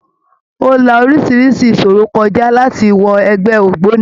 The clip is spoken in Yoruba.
Ó la orísirísi ìṣòro kọ já láti wọ ẹgbẹ́ ògbóni.